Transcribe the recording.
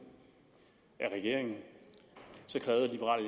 af regeringen så krævede liberal